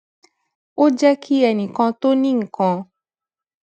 ó jé kí ẹnì kan tó ní nǹkan